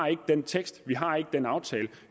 den tekst vi har ikke den aftale